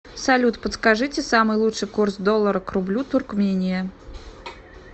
салют подскажите самый лучший курс доллара к рублю туркмения